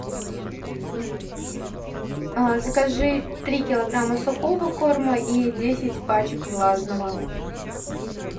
закажи три килограмма сухого корма и десять пачек влажного